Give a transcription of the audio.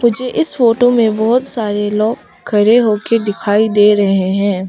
मुझे इस फोटो में बहुत सारे लोग खरे होके दिखाई दे रहे हैं।